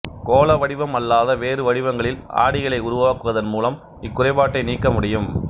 கோள வடிவம் அல்லாத வேறு வடிவங்களில் ஆடிகளை உருவாக்குவதன் மூலம் இக் குறைபாட்டை நீக்க முடியும்